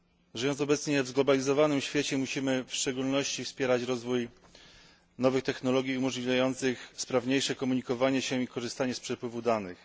Żyjąc obecnie w zglobalizowanym świecie, musimy w szczególności wspierać rozwój nowych technologii umożliwiających sprawniejsze komunikowanie się i korzystanie z przepływu danych.